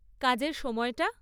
কাজের সময়টা?